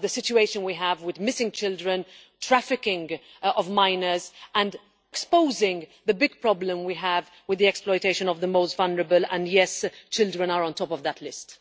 the situation we have with missing children and the trafficking of minors, and exposing the big problem we have with the exploitation of the most vulnerable and yes, children are on top of that list.